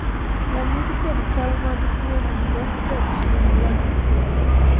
ranyisi kod chal mag tuono dok ga chien bang' thieth